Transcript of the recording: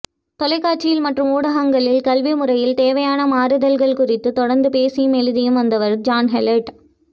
தொலைக்காட்சி மற்றும் ஊடகங்களில் கல்விமுறையில் தேவையான மாறுதல்கள் குறித்து தொடர்ந்து பேசியும் எழுதியும் வந்தவர் ஜான்ஹோல்ட்